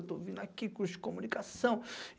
Eu estou vindo aqui, curso de comunicação.